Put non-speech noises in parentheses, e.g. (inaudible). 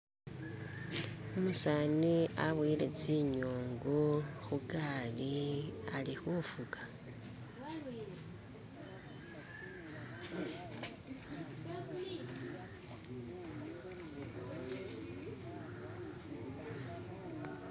(skip) umusani aboyele tsinyungu hugali ali hufuka (skip)